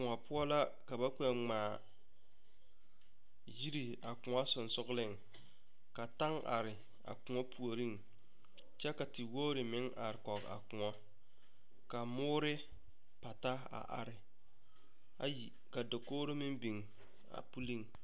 Koɔ poɔ la ka ba kpɛ ŋmaa yiri a koɔ sensogleŋ ka taŋ are a koɔ puoriŋ kyɛ ka tewogre meŋ are kɔge a koɔ ka moore pata a are ayi ka dakogre meŋ biŋ a puliŋ.